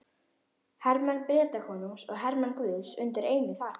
Hermenn Bretakonungs og hermenn guðs undir einu þaki.